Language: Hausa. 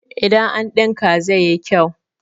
idan an dinka zai yi kyau?